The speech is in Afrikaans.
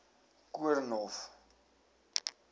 koornhof